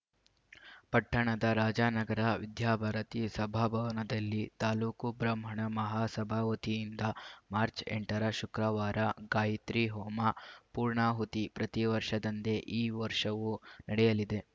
ಪಟ್ಟಣದ ರಾಜಾನಗರ ವಿದ್ಯಾಭಾರತೀ ಸಭಾಭವನದಲ್ಲಿ ತಾಲೂಕು ಬ್ರಾಹ್ಮಣ ಮಹಾಸಭಾ ವತಿಯಿಂದ ಮಾರ್ಚ್ ಎಂಟರ ಶುಕ್ರವಾರ ಗಾಯಿತ್ರಿ ಹೋಮ ಪೂರ್ಣಾಹುತಿ ಪ್ರತಿ ವರ್ಷದಂತೆ ಈ ವರ್ಷವೂ ನಡೆಯಲಿದೆ